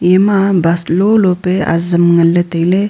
ema bus lolo pe azam ngan ang tam ley.